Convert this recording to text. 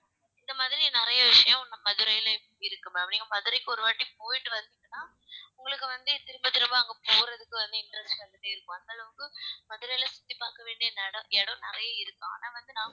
இந்த மாதிரி நிறைய விஷயம் இன்னும் மதுரையில இருக்கு ma'am நீங்க மதுரைக்கு ஒரு வாட்டி போயிட்டு வந்தீங்கன்னா உங்களுக்கு வந்து திரும்ப திரும்ப அங்க போறதுக்கு வந்து interest வந்துட்டே இருக்கும் அந்தளவுக்கு மதுரையில சுத்தி பார்க்க வேண்டிய நெடம் இடம் நிறைய இருக்கு ஆனா வந்து நான்